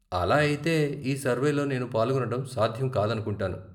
అలా అయితే, ఈ సర్వేలో నేను పాల్గొనటం సాధ్యం కాదనుకుంటాను.